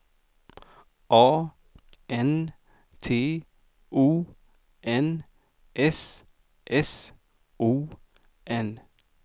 A N T O N S S O N